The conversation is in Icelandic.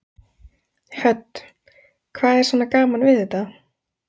Hödd: Hvað er svona gaman við þetta?